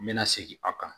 N mɛna segin a kan